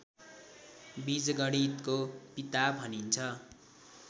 बीजगणितको पिता भनिन्छ